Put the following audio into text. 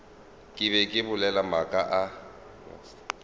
be ke bolela maaka a